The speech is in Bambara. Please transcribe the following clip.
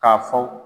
K'a fɔ